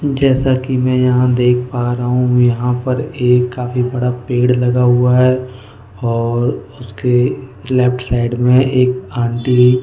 जैसा कि मैं यहां देख पा रहा हूं यहां पर एक काफी बड़ा पेड़ लगा हुआ है और उसके लेफ्ट साइड में एक आंटी --